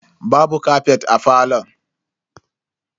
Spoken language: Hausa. Babu kafet a falon.